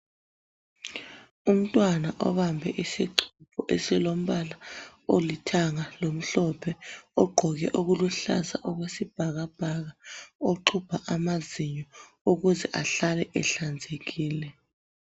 umntwana obambe isixubho esilompala olithanga lomhlophe ogqoke okuluhlaza okwesibhaka bhaka oxhubha amazinyo ukuze asale ehlanzekile.